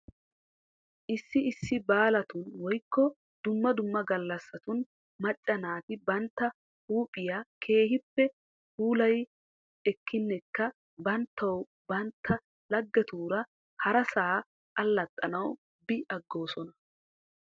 Issi issi baalatun woykko dumma gallassatun macca naati bantta huuphphiyaa keehippe puulayi ekkinnekka banttaw bantta loggetuura harasaa allaxxanawu bi agoosona.